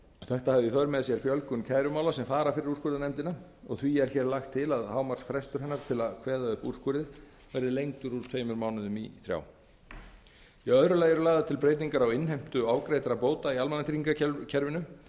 þetta hafi í för með sér fjölgun kærumála sem fara fyrir úrskurðarnefndina og því er hér lagt til að hámarksfrestur hennar til að kveða upp úrskurði verði lengdur úr tveimur mánuðum í þrjá í öðru lagi eru lagðar til breytingar á innheimtu ofgreiddra bóta í almannatryggingakerfinu